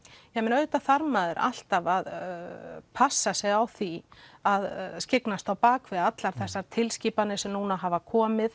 auðvitað þarf maður alltaf að passa sig á því að skyggnast bak við allar þessar tilskipanir sem hafa komið